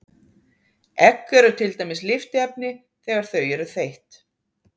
Egg eru til dæmis lyftiefni þegar þau eru þeytt.